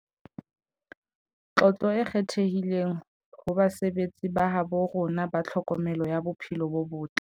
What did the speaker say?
Tlotlo e kgethehileng ho basebetsi ba habo rona ba tlhokomelo ya bophelo bo botle